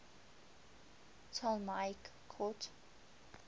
ptolemaic court